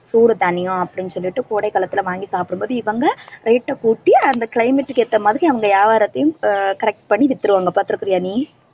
சூடு தணியும் அப்படின்னு சொல்லிட்டு கோடை காலத்துல வாங்கி சாப்பிடும்போது இவங்க rate அ கூட்டி அந்த climate க்கு ஏத்த மாதிரி அவங்க வியாபாரத்தையும் ஆஹ் correct பண்ணி வித்துருவாங்க பார்த்திருக்கிறீயா நீ